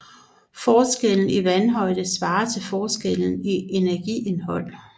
Forskellen i vandhøjde svarer til forskellen i energiindhold